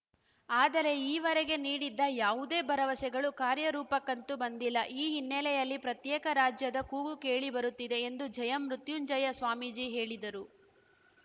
ಆದರೆ ಈವರೆಗೆ ನೀಡಿದ್ದ ಯಾವುದೇ ಭರವಸೆಗಳೂ ಕಾರ್ಯ ರೂಪಕ್ಕಂತೂ ಬಂದಿಲ್ಲ ಈ ಹಿನ್ನೆಲೆಯಲ್ಲಿ ಪ್ರತ್ಯೇಕ ರಾಜ್ಯದ ಕೂಗು ಕೇಳಿ ಬರುತ್ತಿದೆ ಎಂದು ಜಯ ಮೃತ್ಯುಂಜಯ ಸ್ವಾಮೀಜಿ ಹೇಳಿದರು